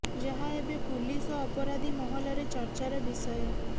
ଯାହା ଏବେ ପୁଲିସ ଓ ଅପରାଧୀ ମହଲରେ ଚର୍ଚାର ବିଷୟ